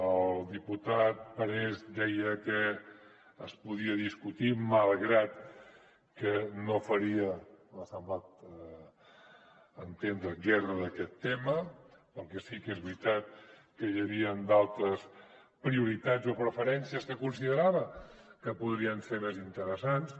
el diputat parés deia que es podia discutir malgrat que no faria m’ha semblat entendre guerra d’aquest tema perquè sí que és veritat que hi havien d’altres prioritats o preferències que considerava que podrien ser més interessants